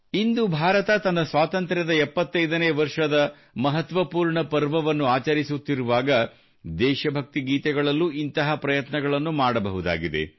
ಇಂದು ಭಾರತ ತನ್ನ ಸ್ವಾತಂತ್ರ್ಯದ 75 ನೇ ವರ್ಷದ ಮಹತ್ವಪೂರ್ಣ ಪರ್ವವನ್ನು ಆಚರಿಸುತ್ತಿರುವಾಗ ದೇಶ ಭಕ್ತಿ ಗೀತೆಗಳಲ್ಲೂ ಇಂಥ ಪ್ರಯತ್ನಗಳನ್ನು ಮಾಡಬಹುದಾಗಿದೆ